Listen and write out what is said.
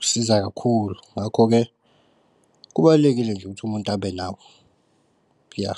Usiza kakhulu ngakho-ke kubalulekile nje ukuthi umuntu abe nawo. Ya.